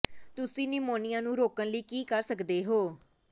ਤੁਸੀਂ ਨਿਮੋਨਿਆ ਨੂੰ ਰੋਕਣ ਲਈ ਕੀ ਕਰ ਸਕਦੇ ਹੋ